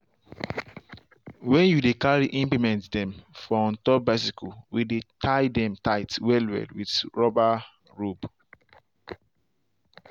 when you dey carry implement dem for on top bicycle we dey tie dem tight well well with rubber robe.